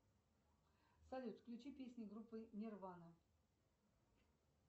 салют включи песни группы нирвана